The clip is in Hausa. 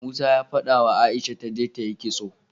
Musa ya fadawa aisha taje tayi kitso